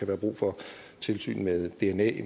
være brug for tilsyn med dna